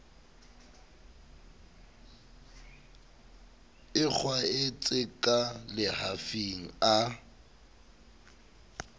e kgwaetse ka lehafing a